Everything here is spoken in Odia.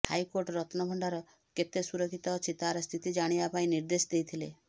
ହାଇକୋର୍ଟ ରତ୍ନଭଣ୍ଡାର କେତେ ସୁରକ୍ଷିତ ଅଛି ତାର ସ୍ଥିତି ଜାଣିବା ପାଇଁ ନିର୍ଦ୍ଦେଶ ଦେଇଥିଲେ